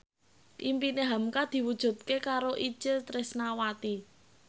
impine hamka diwujudke karo Itje Tresnawati